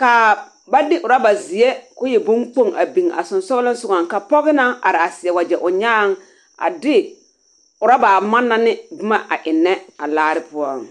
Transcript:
kaa ba de orabazeɛ ko e boŋkpoŋ a biŋ a sonsogleŋ sogɔŋ ka pɔge naŋ are a seɛ wagyɛ o nyaaŋ a de oraba a manna ne boma a ennɛ a laare poɔŋ.